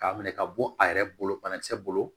K'a minɛ ka bɔ a yɛrɛ bolo banakisɛ bolo